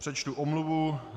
Přečtu omluvu.